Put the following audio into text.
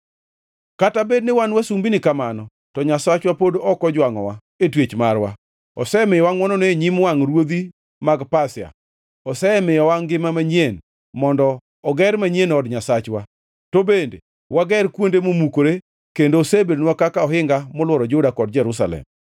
Kata bed ni wan wasumbini kamano, to Nyasachwa pod ok ojwangʼowa e twech marwa. Osemiyowa ngʼwonone e nyim wangʼ ruodhi mag Pasia: Osemiyowa ngima manyien mondo oger manyien od Nyasachwa, to bende wager kuonde momukore, kendo osebedonwa kaka ohinga molworo Juda kod Jerusalem.